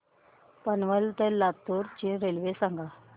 पनवेल ते लातूर ची रेल्वे सांगा